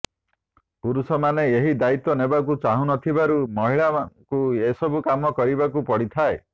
ପୁରୁଷମାନେ ଏହି ଦାୟିତ୍ୱ ନେବାକୁ ଚାହୁଁନଥିବାରୁ ମହିଳାଙ୍କୁ ଏସବୁ କାମ କରିବାକୁ ପଡ଼ିଥାଏ